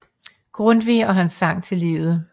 Grundtvig og hans sang til livet